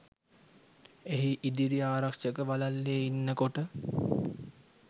එහි ඉදිරි ආරක්ෂක වළල්ලේ ඉන්නකොට